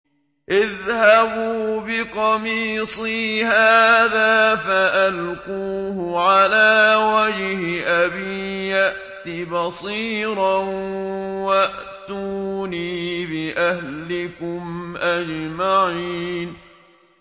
اذْهَبُوا بِقَمِيصِي هَٰذَا فَأَلْقُوهُ عَلَىٰ وَجْهِ أَبِي يَأْتِ بَصِيرًا وَأْتُونِي بِأَهْلِكُمْ أَجْمَعِينَ